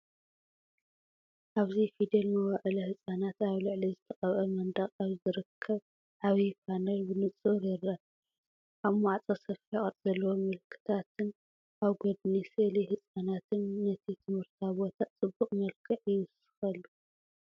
ኣብዚ “ፊደል መዋእለ ህጻናት” ኣብ ልዕሊ ዝተቐብአ መንደቕ ኣብ ዝርከብ ዓቢ ፓነል ብንጹር ይርአ። ኣብ ማዕጾ ሰፊሕ ቅርጺ ዘለዎ ምልክታትን ኣብ ጎድኒ ስእሊ ህጻናትን ነቲ ትምህርታዊ ቦታ ፅቡቅ መልክዕ ይውስኸሉ።